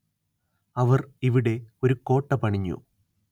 അവര്‍ ഇവിടെ ഒരു കോട്ട പണിഞ്ഞു